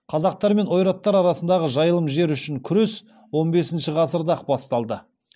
қазақтар мен ойраттар арасындағы жайылым жер үшін күрес он бесінші ғасырда ақ басталды